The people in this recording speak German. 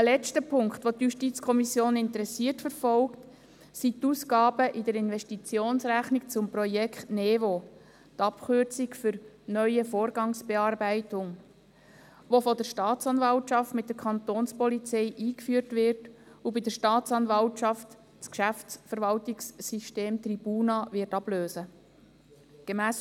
Ein letzter Punkt, den die JuKo interessiert verfolgt, betrifft die Ausgaben in der Investitionsrechnung zum Projekt NeVo, die Abkürzung für «Neue Vorgangsbearbeitung», das von der Staatsanwaltschaft mit der Kantonspolizei eingeführt und bei der Staatsanwaltschaft das Geschäftsverwaltungssystem Tribuna ablösen wird.